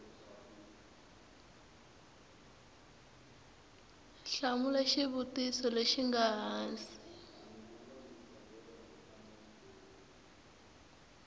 hlamula xivutiso lexi nga hansi